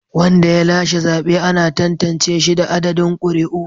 Wanda ya lashe zabe ana tantance shi da adadin ƙuri'u.